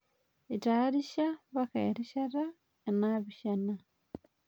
Etaarisha mpaaka erishata enaapishana